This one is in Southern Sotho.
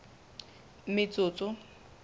metsotso